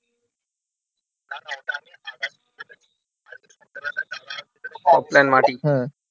সব plan মাটি হ্যাঁ